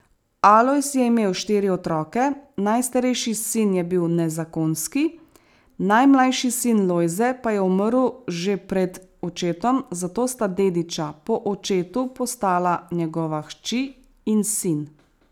Alojz je imel štiri otroke, najstarejši sin je bil nezakonski, najmlajši sin Lojze pa je umrl že pred očetom, zato sta dediča po očetu postala njegova hči in sin.